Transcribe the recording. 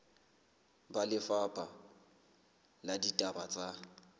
ba lefapha la ditaba tsa